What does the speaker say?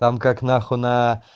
там как на хуй на